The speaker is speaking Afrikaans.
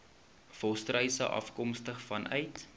volstruise afkomstig vanuit